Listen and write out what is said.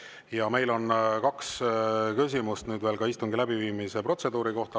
Ja meil on nüüd veel kaks küsimust istungi läbiviimise protseduuri kohta.